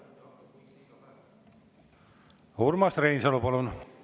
Urmas Reinsalu, palun!